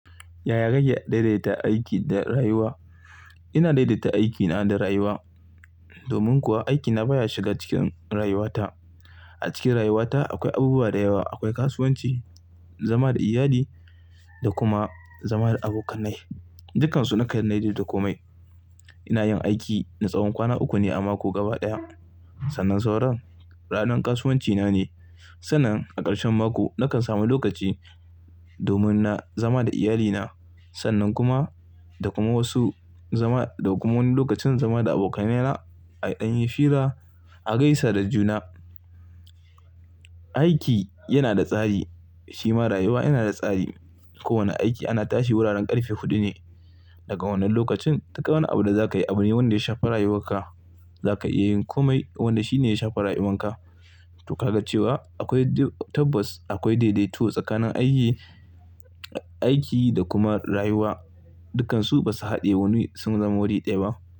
Yaya kake daidaita aiki da rayuwa? Ina daidaita aikina da rayuwa. Domin kuwa, aikina baya shiga cikin rayuwata. Acikin rayuwata akwai abubuwa dayawa. Akwai kasuwanci, zama da iyali da kuma zama da abokanai. Dukansu nakan daidaita komai. Inayin aiki na tsawon kwana uku ne a mako gaba ɗaya. Sannan sauren ranar kasuwancina ne. Sannan a ƙarshen mako nakan samu lokaci domin na zama da iyalina. Sannan kuma, dakuma wasu zama-- da kuma wani lokacin zama da abokanaina a ɗan yi fira, a gaisa da juna. Aiki yanada tsari, shima rayuwa yanada tsari. Kowanne aiki ana tashi wuraren ƙarfe huɗu ne. Daga wannan lokacin, duk wani abu da zakayi abune wanda ya shafi rayuwarka. Zaka iyayin komai wanda shine ya shafi rayuwanka. To ka ga cewa akwai tabas, akwai daidaito tsakanin aiki, aiki da kuma rayuwa. Dukansu basu haɗe wani sun zama wuri ɗaya ba.